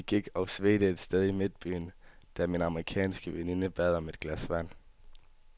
Vi gik og svedte et sted i midtbyen, da min amerikanske veninde bad om et glas vand.